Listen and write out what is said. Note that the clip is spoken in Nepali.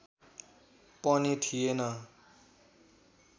पनि थिएन